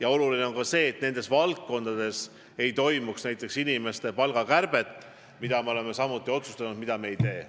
Aga oluline on ka see, et nendes valdkondades inimeste palku ei kärbitaks, ja seda me oleme samuti otsustanud, et seda me ei tee.